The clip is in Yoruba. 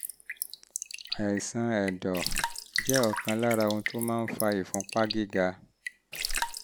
àìsàn ẹ̀dọ̀ cirrhosis jẹ́ ọ̀kan lára ohun tó ń fa ìfúnpá gíga